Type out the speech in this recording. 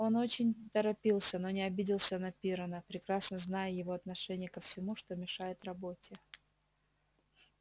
он очень торопился но не обиделся на пиренна прекрасно зная его отношение ко всему что мешает работе